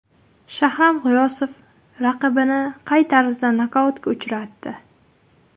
Shahram G‘iyosov raqibini qay tarzda nokautga uchratdi?